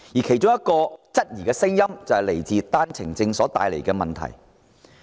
其中一種質疑聲音正是源自單程證所帶來的問題。